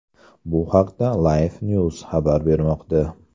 Bu haqda LifeNews xabar bermoqda .